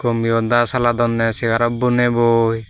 kommiuda saladonney segarot boney boi.